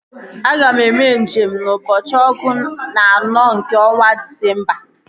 Aga m eme nje m n'ụbọchị ọgụ na anọ nke ọnwa Disemba